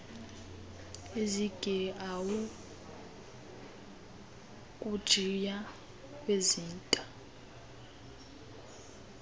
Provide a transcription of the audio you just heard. zigeawu ukujiya kwezinta